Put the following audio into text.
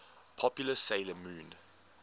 popular 'sailor moon